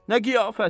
Nə qiyafət?